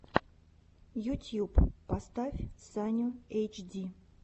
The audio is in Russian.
ютьюб поставь саню эйчди